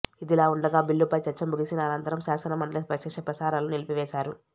ఇదిలా ఉండగా బిల్లుపై చర్చ ముగిసిన అనంతరం శాసనమండలి ప్రత్యక్ష ప్రసారాలను నిలిపివేశారు